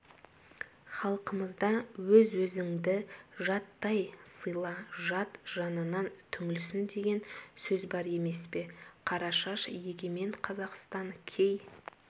халқымызда өз-өзіңді жаттай сыйла жат жанынан түңілсін деген сөз бар емес пе қарашаш егемен қазақстан кей